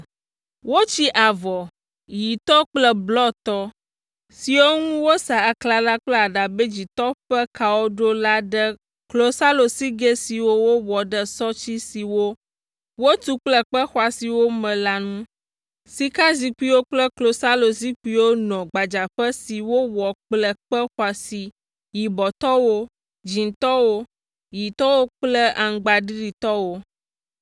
Wotsi avɔ, ɣitɔ kple blɔtɔ siwo ŋu wosa aklala kple aɖabɛ dzĩtɔ ƒe kawo ɖo la ɖe klosalosigɛ siwo wowɔ ɖe sɔti siwo wotu kple kpe xɔasiwo me la ŋu. Sikazikpuiwo kple klosalozikpuiwo nɔ gbadzaƒe si wowɔ kple kpe xɔasi yibɔtɔwo, dzĩtɔwo, ɣitɔwo kple aŋgbaɖiɖitɔwo.